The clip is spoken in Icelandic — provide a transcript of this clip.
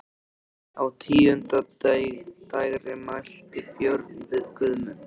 Á tíunda dægri mælti Björn við Guðmund: